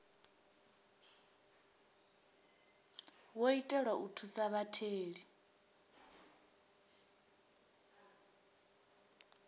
wo itelwa u thusa vhatheli